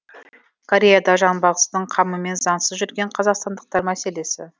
кореяда жанбағыстың қамымен заңсыз жүрген қазақстандықтар мәселесі